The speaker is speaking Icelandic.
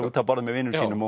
að borða með vinum sínum